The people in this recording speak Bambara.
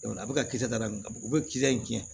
a bɛ ka kisɛ da min ka o bɛ kisɛ in dilan